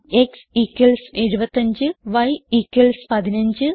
x75 y 15